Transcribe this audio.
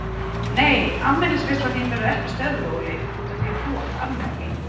Nei afmælisveislan þín verður ekki stöðvuð Óli úr því að þú átt afmæli.